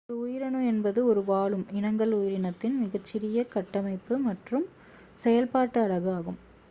ஒரு உயிரணு என்பது ஒரு வாழும் இனங்கள் உயிரினத்தின் மிகச்சிறிய கட்டமைப்பு மற்றும் செயல்பாட்டு அலகு ஆகும்